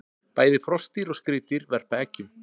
Bæði froskdýr og skriðdýr verpa eggjum.